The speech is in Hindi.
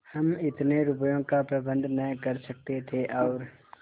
हम इतने रुपयों का प्रबंध न कर सकते थे और